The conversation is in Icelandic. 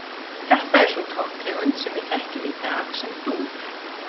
Þetta er sú tóntegund sem við þekkjum í dag sem dúr.